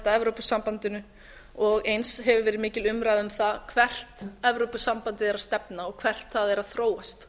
evrópusambandinu og eins hefur verið mikil umræða um það hvert evrópusambandið er að stefna og hvert það er að þróast